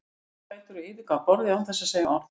Hann stóð á fætur og yfirgaf borðið án þess að segja orð.